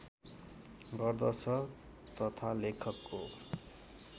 गर्दछ तथा लेखकको